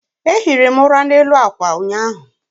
a ehiri m ula n'elu akwa ụnyaahụ